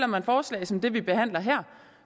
man forslag som det vi behandler her og